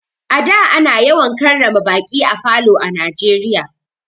A da ana yawan karrama baƙi a falo a Najeriya.